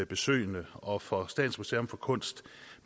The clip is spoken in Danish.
besøgende og for statens museum for kunst